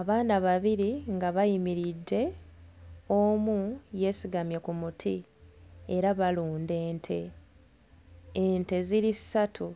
Abaana babiri nga bayimiridde omu yeesigamye ku muti era balunda ente ente ziri ssatu